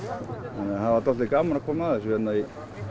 það var svolítið gaman að koma að þessu í